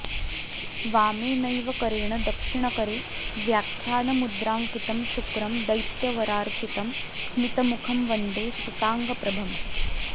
वामेनैव करेण दक्षिणकरे व्याख्यानमुद्राङ्कितं शुक्रं दैत्यवरार्चितं स्मितमुखं वन्दे सिताङ्गप्रभम्